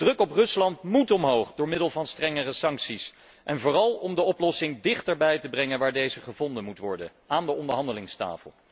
De druk op Rusland moet omhoog door middel van strengere sancties en vooral om de oplossing dichterbij te brengen waar deze gevonden moet worden, aan de onderhandelingstafel.